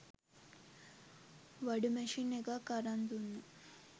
වඩු machine එකක් අරං දුන්න